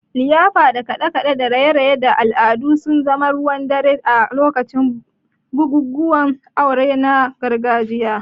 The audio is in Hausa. liyafa da kaɗe-kaɗe da raye-raye da al'adu sun zama ruwan dare a lokacin bukukuwan aure na gargajiya.